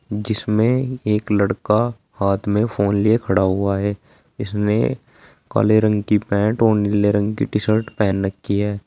जिसमें एक लड़का हाथ में फोन लिए खड़ा हुआ है इस ने काले रंग की पेंट और नीले रंग की टी शर्ट पहन रखी है।